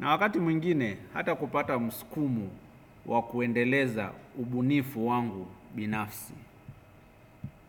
Na wakati mwingine hata kupata mskumo wa kuendeleza ubunifu wangu binafsi.